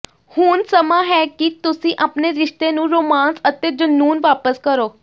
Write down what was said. ਹੁਣ ਸਮਾਂ ਹੈ ਕਿ ਤੁਸੀਂ ਆਪਣੇ ਰਿਸ਼ਤੇ ਨੂੰ ਰੋਮਾਂਸ ਅਤੇ ਜਨੂੰਨ ਵਾਪਸ ਕਰੋ